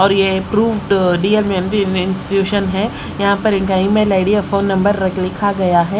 और ये proved D M M B men's tuition है यहां पर इनका ईमेल आईडी और फोन नंबर रख लिखा गया हैं।